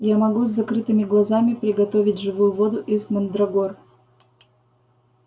я могу с закрытыми глазами приготовить живую воду из мандрагор